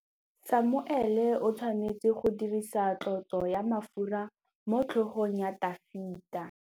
Samuele o tshwanetse go dirisa tlotsô ya mafura motlhôgong ya Dafita.